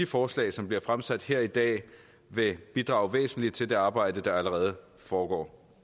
forslag som bliver fremsat her i dag vil bidrage væsentligt til det arbejde der allerede foregår